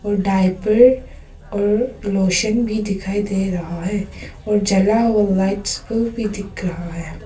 Diaper और lotion भी दिखाई दे रहा है और जला हुआ लाइट्स बल्ब भी दिख रहा है।